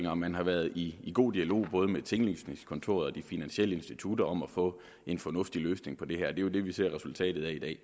og man har været i god dialog både med tinglysningskontorerne og de finansielle institutter om at få en fornuftig løsning på det her er jo det vi ser resultatet af i dag